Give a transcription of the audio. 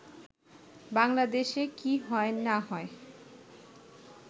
“বাংলাদেশে কি হয় না হয়